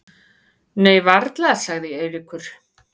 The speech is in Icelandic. Nei varla sagði Eiríkur.